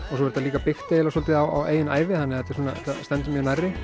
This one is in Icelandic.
og svo er þetta líka byggt eiginlega svolítið á eigin ævi þannig að þetta stendur mér nærri